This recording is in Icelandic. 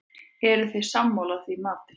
Eruð þið sammála því mati?